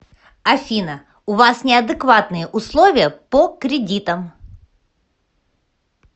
афина у вас неадекватные условия по кредитам